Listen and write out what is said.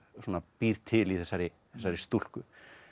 býr til í þessari þessari stúlku